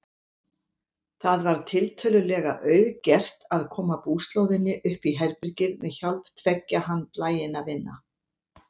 Það var tiltölulega auðgert að koma búslóðinni uppí herbergið með hjálp tveggja handlaginna vina.